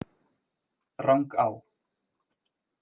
Rangá